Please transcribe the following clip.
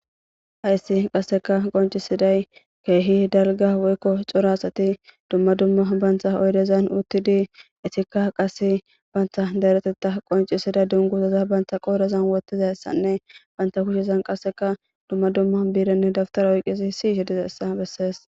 hayssi qasseka qoncisiday keehi dalga woykko cora asati dumma dumma bantha oydezan uttidi itikka qase bantha daretetta qoncisida dunguzaza bantha qoorezan wottiza issanne banta kushezan qasseka dumma dumma biirenne dabtara oyqizi siishe dizayissa bessees.